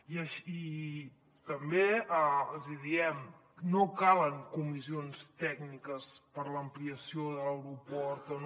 i també els hi diem no calen comissions tècniques per a l’ampliació de l’aeroport o no